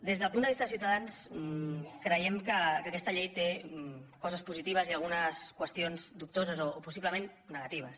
des del punt de vista de ciutadans creiem que aquesta llei té coses positives i algunes qüestions dubtoses o possiblement negatives